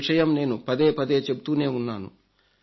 ఈ విషయం నేను పదేపదే చెబుతూనే ఉన్నాను